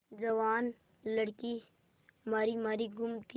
जवान लड़की मारी मारी घूमती है